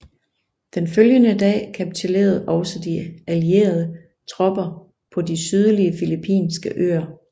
Den følgende dag kapitulerede også de allierede tropper på de sydlige filippinske øer